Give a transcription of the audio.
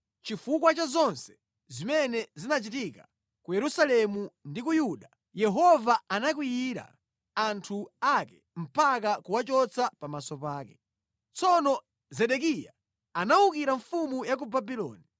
Chifukwa cha zonse zimene zinachitika ku Yerusalemu ndi ku Yuda Yehova anakwiyira anthu ake mpaka kuwachotsa pamaso pake. Tsono Zedekiya anawukira mfumu ya ku Babuloni.